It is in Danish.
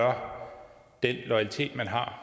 for den loyalitet man har